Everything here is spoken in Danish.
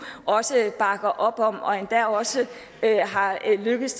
også bakker op om og endda også er lykkedes